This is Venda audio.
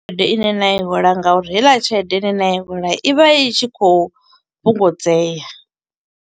Tshelede ine na i hola nga uri heiḽa tshelede ine na i hola, i vha i tshi khou fhungudzea.